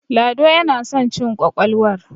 lado yana son cin ƙwaƙwalwar